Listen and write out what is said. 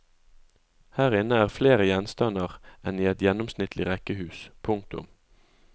Her inne er flere gjenstander enn i et gjennomsnittlig rekkehus. punktum